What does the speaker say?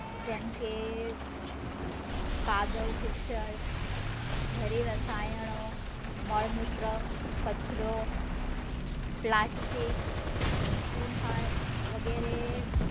જેમ કે કાદવકીચડ, જેરી રસાયણો, મળમૂત્રો, કચરો, પ્લાસ્ટિક, , વગેરે